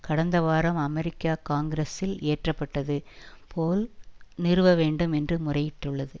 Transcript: கடந்த வாரம் அமெரிக்க காங்கிரசில் இயற்ற பட்டது போல் நிறுவ வேண்டும் என்று முறையிட்டுள்ளது